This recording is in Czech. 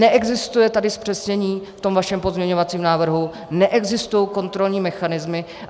Neexistuje tady zpřesnění v tom vašem pozměňovacím návrhu, neexistují kontrolní mechanismy.